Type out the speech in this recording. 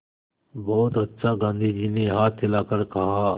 बहुत अच्छा गाँधी जी ने हाथ हिलाकर कहा